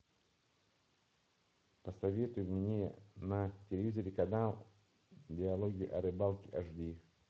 посоветуй мне на телевизоре канал диалоги о рыбалке аш ди